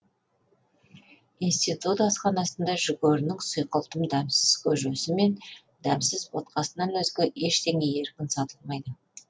институт асханасында жүгерінің сұйқылтым дәмсіз көжесі мен дәмсіз ботқасынан өзге ештеңе еркін сатылмайды